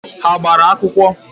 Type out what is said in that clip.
Ha gbara akwụkwọ?